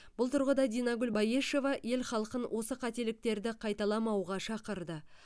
бұл тұрғыда динагүл баешева ел халқын осы қателіктерді қайталамауға шақырды